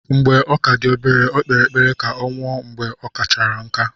Mgbe ọ ka dị obere, Ọ kpere ekpere ka ọ nwụọ mgbe okamachara nkà.